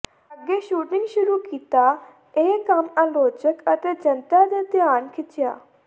ਅੱਗੇ ਸ਼ੂਟਿੰਗ ਸ਼ੁਰੂ ਕੀਤਾ ਇਹ ਕੰਮ ਆਲੋਚਕ ਅਤੇ ਜਨਤਾ ਦੇ ਧਿਆਨ ਖਿੱਚਿਆ